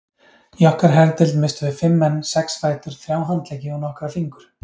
Í okkar herdeild misstum við fimm menn, sex fætur, þrjá handleggi og nokkra fingur.